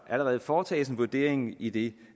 allerede foretages en vurdering i de